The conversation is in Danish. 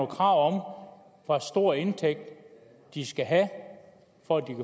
krav om hvor stor en indtægt de skal have